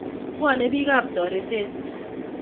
Pwone piikap toreteet